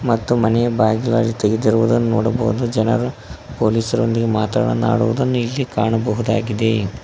ಮತ್ತು ಮನೆ ಬಾಗಿಲು ತೆಗೆಯುತ್ತಿರುವುದು ನೋಡಬಹುದು ಜನರು ಪೊಲೀಸ ರು ನೀ ಮಾತನಾಡುವುದನ್ನು ಇಲ್ಲಿ ಕಾಣಬಹುದಾಗಿದೆ.